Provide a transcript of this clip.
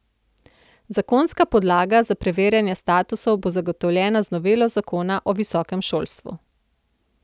Zakonska podlaga za preverjanje statusov bo zagotovljena z novelo zakona o visokem šolstvu.